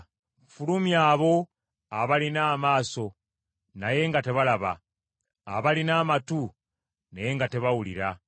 Fulumya abo abalina amaaso naye nga tebalaba, abalina amatu naye nga tebawulira.